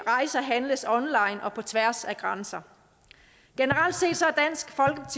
rejser handles online og på tværs af grænser generelt set